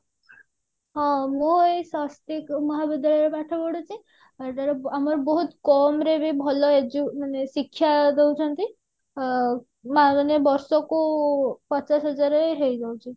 ହଁ ମୁଁ ଏଇ ସ୍ଵସ୍ତିକ ମହାବିଦ୍ୟାଳୟରେ ପାଠ ପଢୁଛି ବହୁତ କମ ରେ ବି ଭଲ Edu ଶିକ୍ଷା ଦଉଛନ୍ତି ଏ ମାନିନିଅ ବର୍ଷକୁ ପଚାଶ ହଜାରେ ହେଇ ଯାଉଛି